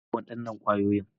Kar ka taɓa waɗannan kwayoyi.